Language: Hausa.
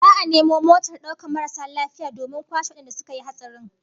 Za'a nemo motar daukar marasu lafiya domin kwashe wadanda suka yi hatsarin